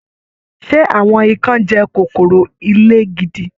Ṣe àwọn ìkan jẹ kòkòrò ilé gidi?